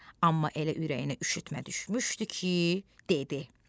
amma elə ürəyinə üşütmə düşmüşdü ki, dedi.